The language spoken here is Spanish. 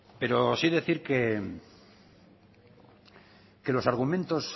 pero sí decir que los argumentos